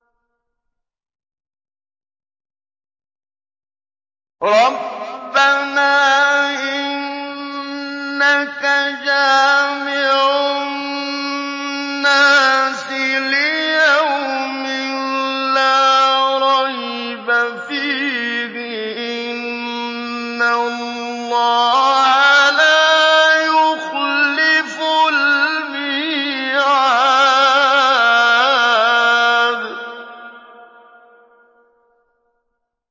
رَبَّنَا إِنَّكَ جَامِعُ النَّاسِ لِيَوْمٍ لَّا رَيْبَ فِيهِ ۚ إِنَّ اللَّهَ لَا يُخْلِفُ الْمِيعَادَ